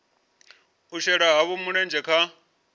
u shela havho mulenzhe kha